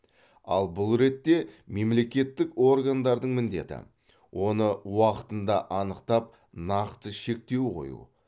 ал бұл ретте мемлекеттік органдардың міндеті оны уақытында анықтап нақты шектеу қою